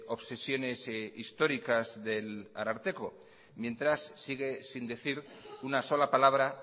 obsesiones históricas del ararteko mientras sigue sin decir una sola palabra